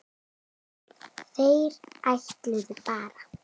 Þeir ætluðu bara.